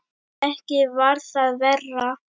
Ekki var það verra.